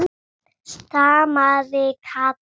stamaði Kata.